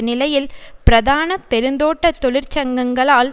நிலையில் பிரதான பெருந்தோட்ட தொழிற்சங்கங்களால்